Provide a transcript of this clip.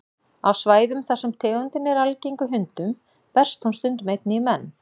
Á svæðum þar sem tegundin er algeng í hundum berst hún stundum einnig í menn.